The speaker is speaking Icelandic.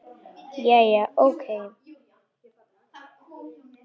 Jæja, ókei.